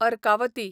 Arkavati